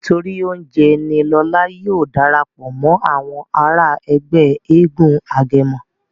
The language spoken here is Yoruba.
nítorí oúnjẹ ní Lọla yóò darapọ̀ mọ Àwọn àrà Ègbé éégun agẹmọ.